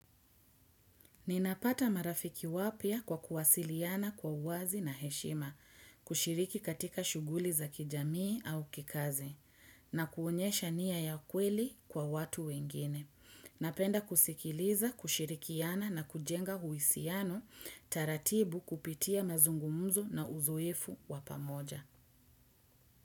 Ninapata marafiki wapya kwa kuwasiliana kwa uwazi na heshima, kushiriki katika shughuli za kijamii au kikazi, na kuonyesha nia ya kweli kwa watu wengine. Napenda kusikiliza, kushirikiana na kujenga uhusiano, taratibu kupitia mazungumzo na uzoefu wa pamoja.